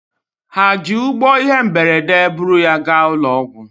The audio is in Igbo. Ha ji ụgbọ ihe mberede buru ya gaa ụlọ ọgwụ?